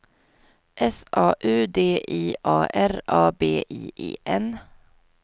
S A U D I A R A B I E N